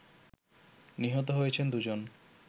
নিহত হয়েছেন দু'জন